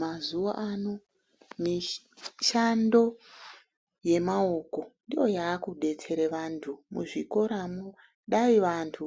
Mazuwano mishando yemaoko ndiyo yakudetsere vanthu. Muzvikoramwo dai vanthu